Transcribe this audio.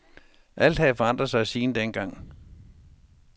Alt havde forandret sig siden dengang.